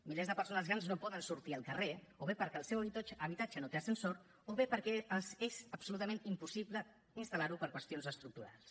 milers de persones grans no poden sortir al carrer o bé perquè el seu habitatge no té ascensor o bé perquè és absolutament impossible instal·lar lo per qüestions estructurals